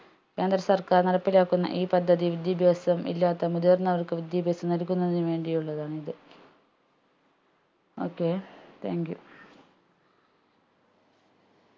കേന്ദ്ര സർക്കാർ നടപ്പിലാക്കുന്ന ഈ പദ്ധതി വിദ്യാഭ്യാസമില്ലാത്ത മുതിർന്നവർക്ക് വിദ്യാഭ്യാസം നൽകുന്നതിന് വേണ്ടിയുള്ളതാണിത് okaythank you